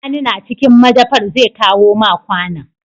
Sani na cikin madafar zai kawo ma kwAnan